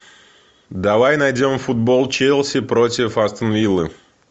давай найдем футбол челси против астон виллы